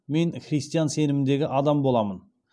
мен христиан сеніміндегі адам боламын